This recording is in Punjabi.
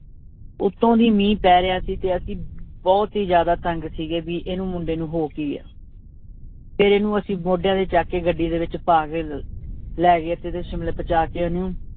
ਉੱਤੋਂ ਦੀ ਮੀਂਹ ਪੈ ਰਿਹਾ ਸੀ ਤੇ ਅਸੀਂ ਬਹੁਤ ਹੀ ਜ਼ਿਆਦਾ ਤੰਗ ਸੀਗੇ ਵੀ ਇਹਨੂੰ ਮੁੰਡੇ ਨੂੰ ਹੋ ਕੀ ਗਿਆ ਫਿਰ ਇਹਨੂੰ ਅਸੀਂ ਮੋਢਿਆਂ ਤੇ ਚੁੱਕ ਕੇ ਗੱਡੀ ਦੇ ਵਿੱਚ ਪਾ ਕੇ ਲੈ ਗਏ ਸ਼ਿਮਲੇ ਪਹੁੰਚਾ ਕੇ ਉਹਨੂੰ